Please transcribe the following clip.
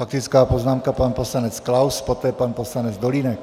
Faktická poznámka, pan poslanec Klaus, poté pan poslanec Dolínek.